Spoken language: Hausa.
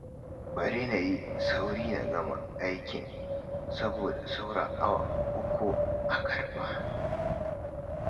Bari na yi sauri na gama aikin, saboda saura awa uku a karɓa